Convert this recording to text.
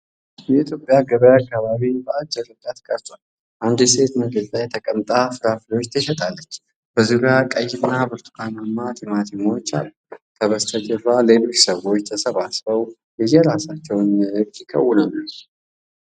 የኢትዮጵያ ገበያ አከባቢ በአጭር ርቀት ቀርጿል። አንዲት ሴት መሬት ላይ ተቀምጣ ፍራፍሬ ትሸጣለች፤ በዙሪያዋ ቀይና ብርቱካናማ ቲማቲሞች አሉ። ከበስተጀርባ ሌሎች ሰዎች ተሰባስበው የየራሳቸውን ንግድ ይከውናሉ።